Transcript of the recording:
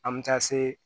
An bɛ taa se